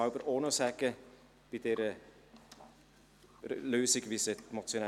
Der Motionär wünscht das Wort noch einmal.